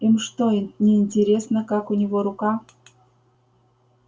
им что неинтересно как у него рука